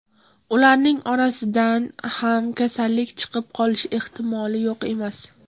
Ularning orasidan ham kasallik chiqib qolishi ehtimoli yo‘q emas.